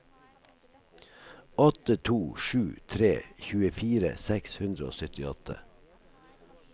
åtte to sju tre tjuefire seks hundre og syttiåtte